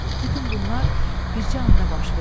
Bütün bunlar bircə anda baş verdi.